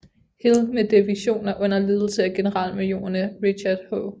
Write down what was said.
Hill med divisioner under ledelse af generalmajorerne Richard H